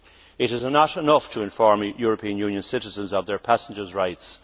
It is not enough to inform European Union citizens of their passenger rights